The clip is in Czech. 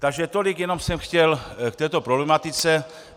Takže tolik jenom jsem chtěl k této problematice.